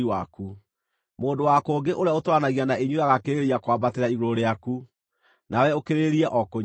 Mũndũ wa kũngĩ ũrĩa ũtũũranagia na inyuĩ agaakĩrĩrĩria kwambatĩra igũrũ rĩaku, na we ũkĩrĩrĩrie o kũnyiiha.